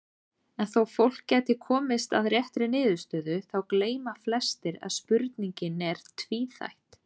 En þó fólk gæti komist að réttri niðurstöðu þá gleyma flestir að spurningin er tvíþætt.